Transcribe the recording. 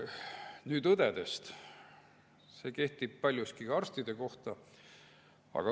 Nüüd õdedest, aga see kehtib paljuski ka arstide kohta.